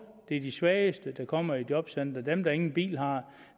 det er de svageste der kommer i jobcentrene dem der ingen bil har